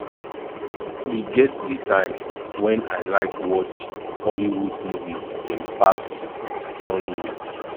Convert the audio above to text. e get di time wen i like watch hollywood movie dem pass nollywood